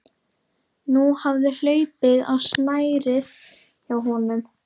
Nú hafði hlaupið á snærið hjá honum.